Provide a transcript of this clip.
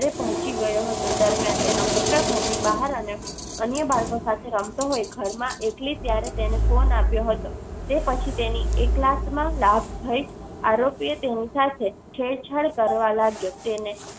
પોહચી ગયો હતો તે દરમ્યાન તેનો પુત્ર ધર ની બહાર અને અન્ય બાળકો સાથે રમતો હોય. ઘરમાં એકલી ત્યારે તેને ફોન આપ્યો હતો. તે પછી તેને એકલાકમાં લાભ થાય આરોપી તેની સાથે છેડછાડ કરવા લાગ્યો. તેને